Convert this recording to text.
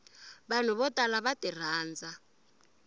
vanhu vo tala va tirhandza